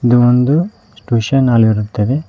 ಇದು ಒಂದು tuition hall ಇರುತ್ತದೆ.